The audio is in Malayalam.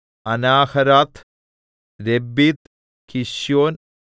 അനാഹരാത്ത് രബ്ബീത്ത് കിശ്യോൻ